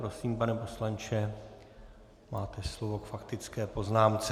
Prosím, pane poslanče, máte slovo k faktické poznámce.